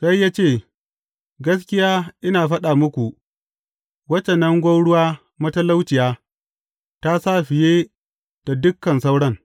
Sai ya ce, Gaskiya ina faɗa muku, wacce nan gwauruwa matalauciya ta sa fiye da dukan sauran.